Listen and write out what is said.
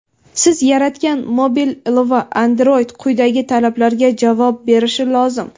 Siz yaratgan mobil ilova(Android) quyidagi talablarga javob berishi lozim:.